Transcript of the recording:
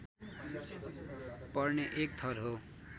पर्ने एक थर हो